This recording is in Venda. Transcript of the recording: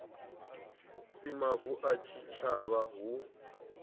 si mavu a tshitshavha hu